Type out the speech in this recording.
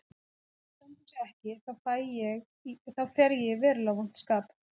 Ef hún stendur sig ekki, þá fer ég í verulega vont skap.